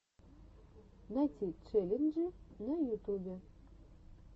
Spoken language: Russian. найти челленджи на ютубе